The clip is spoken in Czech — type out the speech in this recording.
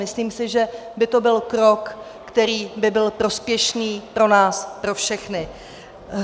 Myslím si, že by to byl krok, který by byl prospěšný pro nás pro všechny.